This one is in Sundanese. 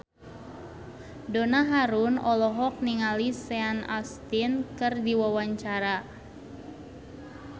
Donna Harun olohok ningali Sean Astin keur diwawancara